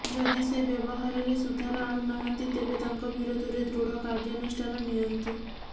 ଯଦି ସେ ବ୍ୟବହାରେରେ ସୁଧାର ଆଣୁ ନାହାନ୍ତି ତେବେ ତାଙ୍କ ବିରୋଧରେ ଦୃଢ କର୍ଯ୍ୟାନୁଷ୍ଠାନ ନିଅନ୍ତୁ